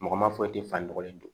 Mɔgɔ ma foyi te fan nɔgɔlen don